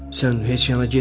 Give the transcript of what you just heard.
Sən heç yana getmirsən.